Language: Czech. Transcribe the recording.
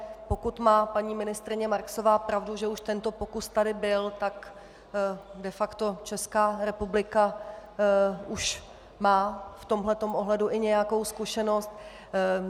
Pokud má paní ministryně Marksová pravdu, že už tento pokus tady byl, tak de facto Česká republika už má v tomhle ohledu i nějakou zkušenost.